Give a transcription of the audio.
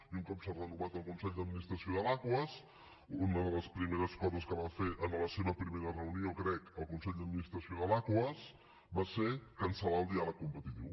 i un cop s’ha renovat el consell d’administració de l’aquas una de les primeres coses que va fer en la seva primera reunió crec el consell d’administració de l’aquas va ser cancel·lar el diàleg competitiu